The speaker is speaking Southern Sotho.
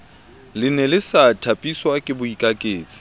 lene le sa thapiswake boikaketsi